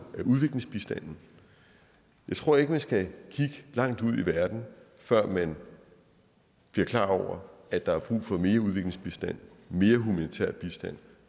er udviklingsbistanden jeg tror ikke man skal kigge langt ud i verden før man bliver klar over at der er brug for mere udviklingsbistand mere humanitær bistand